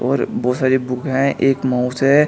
और बहोत सारी बुक हैं एक माउस है।